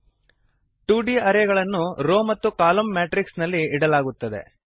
2Dಟು D ಅರೇಗಳನ್ನು row ಮತ್ತು column matrix ನಲ್ಲಿ ಇಡಲಾಗುತ್ತದೆ